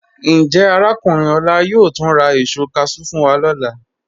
Njẹ́ Arákùnrin Ola yóò túń rà èṣọ cashew fún wa ni ọlá?